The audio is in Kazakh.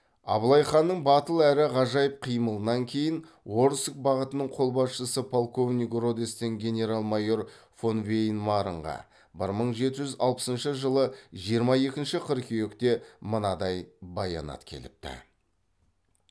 абылай ханның батыл әрі ғажайып қимылынан кейін орск бағытының қолбасшысы полковник родестен генерал майор фонвейнмарнға бір мың жеті жүз алпысыншы жылы жиырма екінші қыркүйекте мынадай баянат келіпті